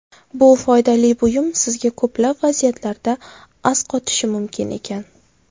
Bu foydali buyum sizga ko‘plab vaziyatlarda asqotishi mumkin ekan.